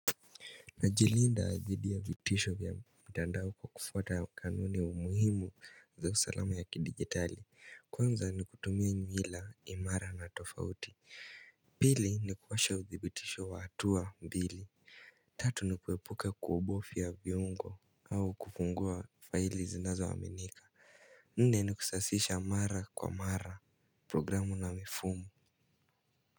Najilinda dhidi ya vitisho vya mtandao kwa kufuata kanuni umuhimu za usalama ya kidigitali. Kwanza ni kutumia nyuhila imara na tofauti. Bili ni kuwasha udibitisho wa hatua mbili. Tatu ni kuwepuka kuobofiya viongo au kufungua faili zinazoaminika. Nne ni kusasisha mara kwa mara programu na mifumo.